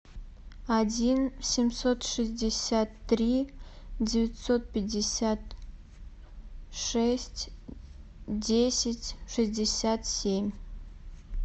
один семьсот шестьдесят три девятьсот пятьдесят шесть десять шестьдесят семь